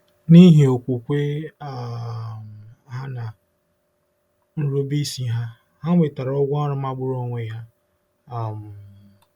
N'ihi okwukwe um ha na nrubeisi ha, ha nwetara ụgwọ ọrụ magburu onwe ya. um